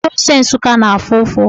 Ezigbo ose Nsụka na-afụ ụfụ.